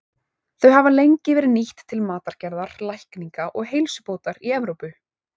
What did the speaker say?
Þau hafa lengi verið nýtt til matargerðar, lækninga og heilsubótar í Evrópu.